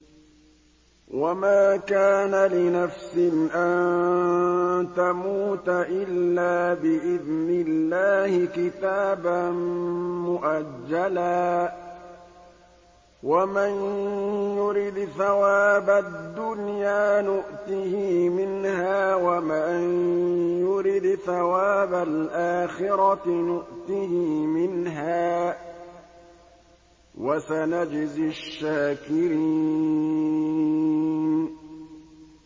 وَمَا كَانَ لِنَفْسٍ أَن تَمُوتَ إِلَّا بِإِذْنِ اللَّهِ كِتَابًا مُّؤَجَّلًا ۗ وَمَن يُرِدْ ثَوَابَ الدُّنْيَا نُؤْتِهِ مِنْهَا وَمَن يُرِدْ ثَوَابَ الْآخِرَةِ نُؤْتِهِ مِنْهَا ۚ وَسَنَجْزِي الشَّاكِرِينَ